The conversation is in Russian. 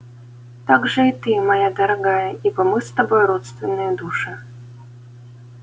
также и ты моя дорогая ибо мы с тобой родственные души